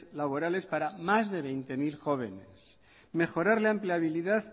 laborales para más de veinte mil jóvenes mejorar la empleabilidad